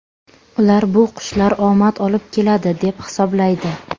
Ular bu qushlar omad olib keladi, deb hisoblaydi.